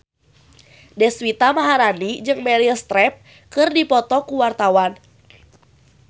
Deswita Maharani jeung Meryl Streep keur dipoto ku wartawan